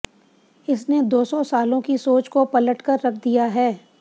इसने दो सौ सालों की सोच को पटल कर रख दिया है